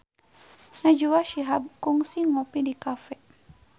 Najwa Shihab kungsi ngopi di cafe